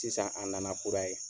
Sisan a nana kura ye